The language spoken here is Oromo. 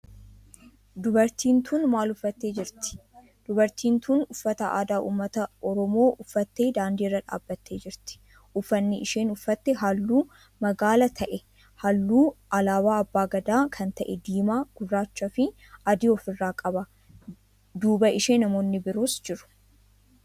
Dubartiin tun maal uffattee jirti? Dubartiin tun uffata aadaa ummata oromoo uffattee daandii irra dhaabbattee jirti. uffanni isheen uffatte halluu magaala ta'e halluu alaabaa abbaa Gadaa kan ta'e diimaa gurraacha fi adii of irraa qaba. duuba ishee namoonni biroos jiru.